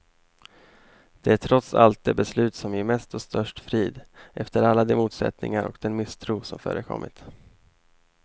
Det är trots allt det beslut som ger mest och störst frid, efter alla de motsättningar och den misstro som förekommit.